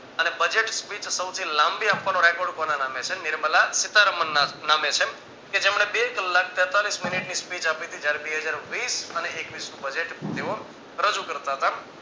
અને budget speech સૌથી લાંબી આપવાનો Recode કોના નામે છે નિર્મલા સીતારામન ના નામે છે કે જેમને બે કલાક તેતાલીશ મિનિટ ને speech આપિતી જયારે બે હજાર વિસ અને એકવીશ નું budget તેઓ રજુ કરતા તા